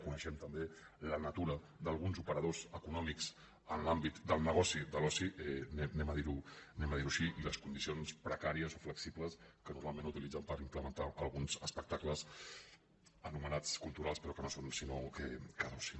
coneixem també la natura d’alguns operadors econòmics en l’àmbit del negoci de l’oci diguem ho així i les condicions precàries o flexibles que normalment utilitzen per implementar alguns espectacles anomenats culturals però que no són sinó d’oci